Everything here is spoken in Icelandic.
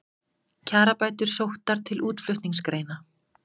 Kjarabætur sóttar til útflutningsgreina